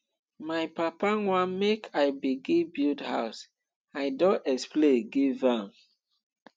my papa want make i begin build house i don explain give am